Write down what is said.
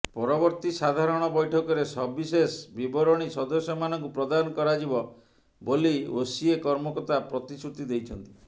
ପରବର୍ତ୍ତୀ ସାଧାରଣ ବୈଠକରେ ସବିଶେଷ ବିବରଣୀ ସଦସ୍ୟମାନଙ୍କୁ ପ୍ରଦାନ କରାଯିବ ବୋଲି ଓସିଏ କର୍ମକର୍ତ୍ତା ପ୍ରତିଶ୍ରୁତି ଦେଇଛନ୍ତି